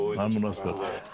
Ay nə münasibət!